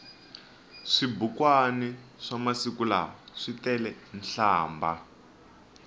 swibukwani swamasiku lawa switelenhlambha